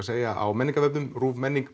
segja á menningarvefnum ruvmenning